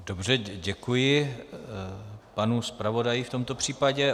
Dobře, děkuji panu zpravodaji v tomto případě.